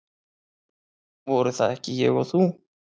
Voru það ekki ég og þú?